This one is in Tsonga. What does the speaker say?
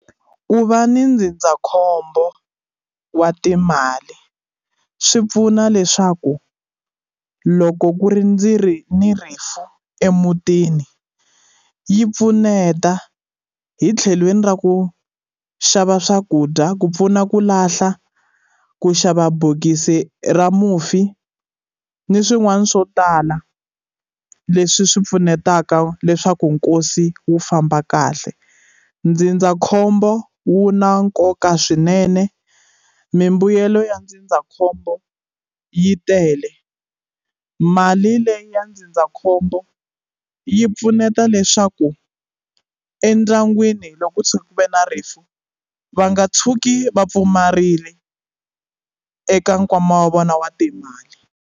Ku va ni ndzindzakhombo wa timali swi pfuna leswaku loko ku ri ndzi ri ni rifu emutini yi pfuneta hi tlhelweni ra ku xava swakudya ku pfuna ku lahla ku xava bokisi ra mufi ni swin'wana swo tala leswi swi pfunetaka leswaku nkosi wu famba kahle ndzindzakhombo wu na nkoka swinene mimbuyelo ya ndzindzakhombo yi tele mali leyi ya ndzindzakhombo yi pfuneta leswaku endyangwini loko ko tshuka ku ve na rifu va nga tshuki va pfumarile eka nkwama wa vona wa timali.